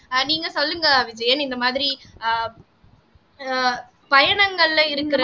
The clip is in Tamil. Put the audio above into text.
ஆஹ் நீங்க சொல்லுங்க விஜயன் இந்த மாதிரி ஆஹ் அஹ் பயணங்கள்ல இருக்கிற